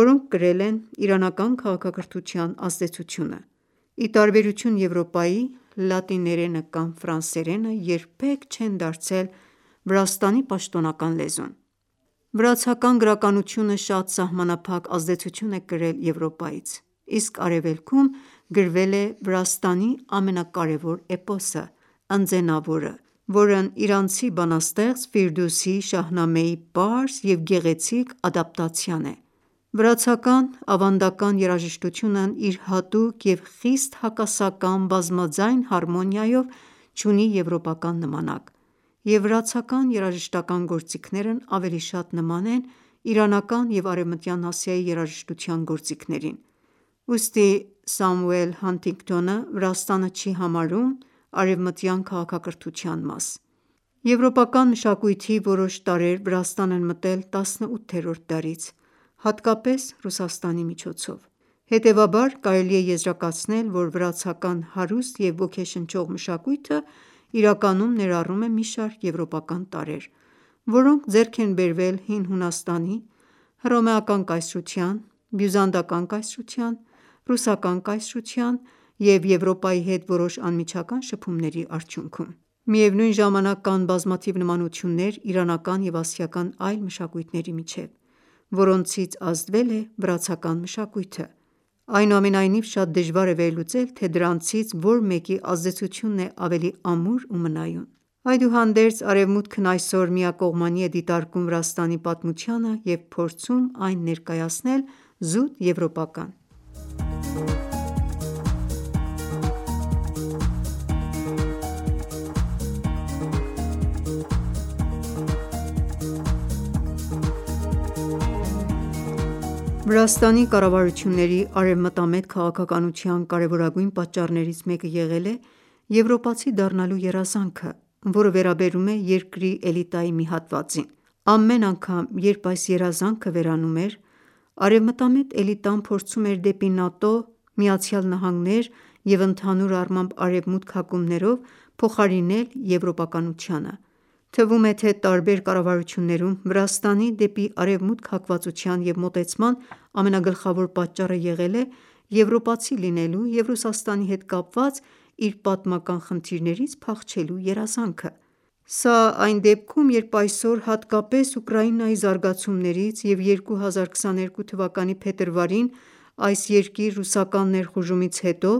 որոնք կրել են իրանական քաղաքակրթության ազդեցությունը: Ի տարբերություն Եվրոպայի, լատիներենը կամ ֆրանսերենը երբեք չեն դարձել Վրաստանի պաշտոնական լեզուն։ Վրացական գրականությունը շատ սահմանափակ ազդեցություն է կրել Եվրոպայից, իսկ Արևելքում գրվել է Վրաստանի ամենակարևոր էպոսը` «Ընձենավորը», որն իրանցի բանաստեղծ Շահնամեի պարզ և գեղեցիկ ադապտացիան է: Վրացական ավանդական երաժշտությունն իր հատուկ և խիստ հակասական բազմաձայն հարմոնիայով չունի եվրոպական նմանակ, և վրացական երաժշտական ​​գործիքներն ավելի շատ նման են իրանական և արևմտյան Ասիայի երաժշտության գործիքներին: Ուստի Սամուել Հանթինգթոնը Վրաստանը չի համարում արևմտյան քաղաքակրթության մաս Եվրոպական մշակույթի որոշ տարրեր Վրաստան են մտել 18-րդ դարից, հատկապես Ռուսաստանի միջոցով։ Հետևաբար, կարելի է եզրակացնել, որ վրացական հարուստ և ոգեշնչող մշակույթը իրականում ներառում է մի շարք եվրոպական տարրեր, որոնք ձեռք են բերվել Հին Հունաստանի, Հռոմեական կայսրության, Բյուզանդական կայսրության, Ռուսական կայսրության և Եվրոպայի հետ որոշ անմիջական շփումների արդյունքում: Միևնույն ժամանակ, կան բազմաթիվ նմանություններ իրանական և ասիական այլ մշակույթների միջև, որոնցից ազդվել է վրացական մշակույթը: Այնուամենայնիվ, շատ դժվար է վերլուծել, թե դրանցից որ մեկի ազդեցությունն է ավելի ամուր ու մնայուն։ Այդուհանդերձ, ԱՐևմուտքն այսօր միակողմանի է դիտարկում Վրաստանի պատմությանը և փորձում այն ներկայացնել զուտ եվրոպական: Վրաստան; Ռուսաստանի և Արևմուտքի մրցակցության կենտրոնը Վրաստանի կառավարությունների արևմտամետ քաղաքականության կարևորագույն պատճառներից մեկը եղել է «եվրոպացի դառնալու երազանքը», որը վերաբերում է երկրի էլիտայի մի հատվածին։ Ամեն անգամ, երբ այս երազանքը վերանում էր, արևմտամետ էլիտան փորձում էր դեպի ՆԱՏՕ, Միացյալ Նահանգներ և ընդհանուր առմամբ Արևմուտք հակումներով, փոխարինել եվրոպականությանը: Թվում է, թե տարբեր կառավարություններում Վրաստանի՝ դեպի Արևմուտք հակվածության և մոտեցման ամենագլխավոր պատճառը եղել է եվրոպացի լինելու և Ռուսաստանի հետ կապված իր պատմական խնդիրներից փախչելու երազանքը։ Սա այն դեպքում, երբ այսօր, հատկապես Ուկրաինայի զարգացումներից և 2022 թվականի փետրվարին այս երկիր ռուսական ներխուժումից հետո,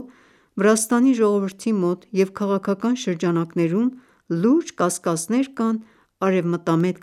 Վրաստանի ժողովրդի մոտ և քաղաքական շրջանակներում լուրջ կասկածներ կան արևմտամետ